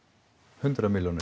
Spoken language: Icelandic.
hundrað milljónir